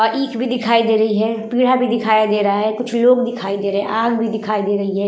और ईख भी दिखाई दे रही है पीढ़ा भी दिखाया दे रहा है कुछ लोग दिखाई दे रहे है आग भी दिखाई दे रही हैं।